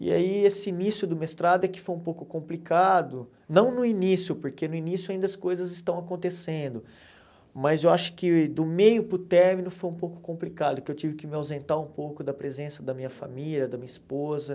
E aí esse início do mestrado é que foi um pouco complicado, não no início, porque no início ainda as coisas estão acontecendo, mas eu acho que do meio para o término foi um pouco complicado, que eu tive que me ausentar um pouco da presença da minha família, da minha esposa.